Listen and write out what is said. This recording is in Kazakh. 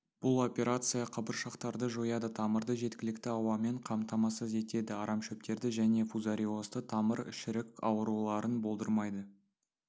бұл операция қабыршақтарды жояды тамырды жеткілікті ауамен қамтамасыз етеді арамшөптерді және фузариозды тамыр шірік ауруларын болдырмайды